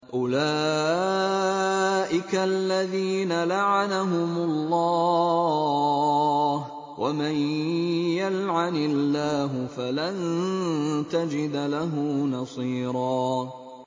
أُولَٰئِكَ الَّذِينَ لَعَنَهُمُ اللَّهُ ۖ وَمَن يَلْعَنِ اللَّهُ فَلَن تَجِدَ لَهُ نَصِيرًا